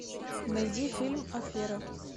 найди фильм афера